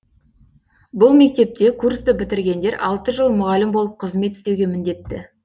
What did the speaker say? бұл мектепте курсты бітіргендер алты жыл мұғалім болып қызмет істеуге міндетті